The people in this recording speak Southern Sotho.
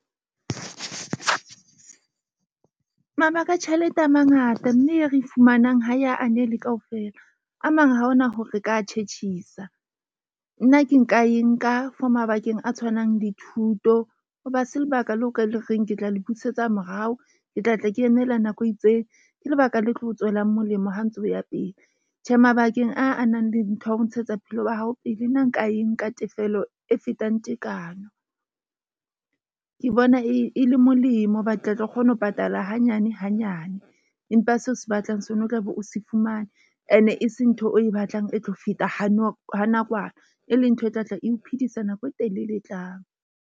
Mabaka a tjhelete a mangata, mme e re e fumanang ha e ya anele kaofela. A mang, ha hona hore re ka tjhetjhisa. Nna ke nka e nka for mabakeng a tshwanang le thuto. Hoba ha se lebaka leo o ka le reng ke tla le busetsa morao, ke tla tla ke emela nako e itseng. Ke lebaka le tlo o tswelang molemo ha o ntsa ya pele. Tjhe mabakeng a a nang le ntho ya ho ntshetsa bophelo ba hao pele, nna nka e nka tefello e fetang tekano. Ke bona e le molemo. Ba tla tlo kgona ho patala hanyane hanyane, empa seo se batlang se ono tlabe o se fumane. E ne e se ntho o e batlang e tlo feta ha ha nakwana e leng ntho e tlatla, eo phidisa nako e telele e tlang.